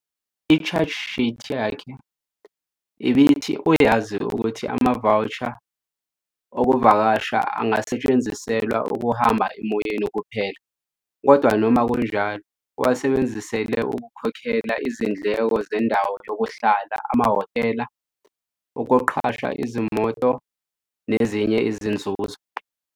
I-charge sheet yakhe ibithi uyazi ukuthi ama-voucher okuvakasha angasetshenziselwa ukuhamba emoyeni kuphela kodwa noma kunjalo uwasebenzisela ukukhokhela izindleko zendawo yokuhlala amahhotela, ukuqasha izimoto nezinye izinzuzo.